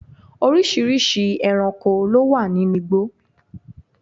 oríṣiríṣi ẹranko ló wà ninú igbó